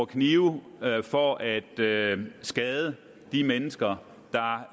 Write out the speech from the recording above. knive for at skade skade de mennesker